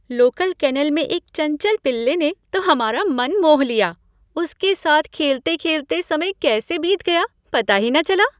Local kennel में एक चंचल पिल्ले ने तो हमारा मन मोह लिया। उसके साथ खेलते खेलते समय कैसे बीत गया, पता ही न चला।